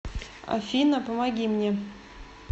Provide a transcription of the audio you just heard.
афина помоги мне